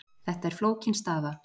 Þetta er flókin staða,